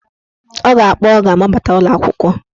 Ọ ga-akpọ ọga ma ọ bata ụlọakwụkwọ.